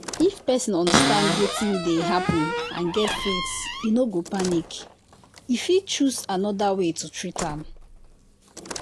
if person understand wetin dey happen and get faith e no go panic. e fit choose another way to treat am.